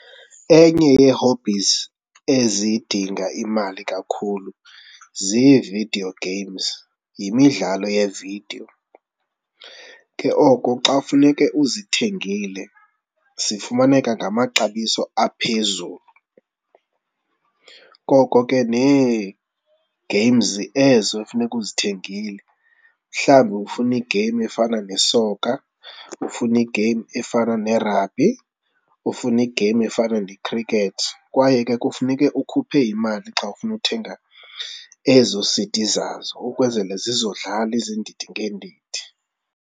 Enye yee-hobbies ezidinga imali kakhulu ziividiyo games, yimidlalo yevidiyo. Ke oko xa kufuneke uzithengile zifumaneka ngamaxabiso aphezulu. Koko ke nee-games ezo funeka uzithengile mhlawumbi ufuna i-game efana nesokha, ufuna i-game efana nerabhi, ufuna game efana ne-cricket kwaye ke kufuneke ukhuphe imali xa ufuna uthenga ezo C_D zazo ukwenzele zizodlala iizizindidi ngeendidi.